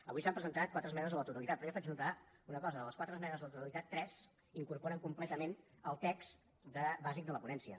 avui s’han presentat quatre esmenes a la totalitat però jo faig notar una cosa de les quatre esmenes a la totalitat tres incorporen completament el text bàsic de la ponència